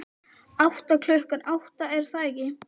Átta, klukkan átta, er það ekki?